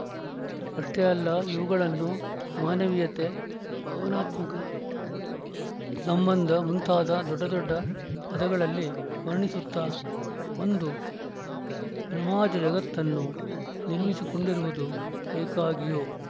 ಅಷ್ಟೇ ಅಲ್ಲ ಇವುಗಳನ್ನು ಮಾನವೀಯತೆ ಭಾವನಾತ್ಮಕ ಸಂಬಂಧ ಮುಂತಾದ ದೊಡ್ಡದೊಡ್ಡ ಪದಗಳಲ್ಲಿ ವರ್ಣಿಸುತ್ತಾ ಒಂದು ಭ್ರಮಾಜಗತ್ತನ್ನು ನಿರ್ಮಿಸಿಕೊಂಡಿರುವುದು ಏಕಾಗಿಯೋ